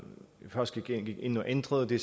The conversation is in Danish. først gik ind og ændrede det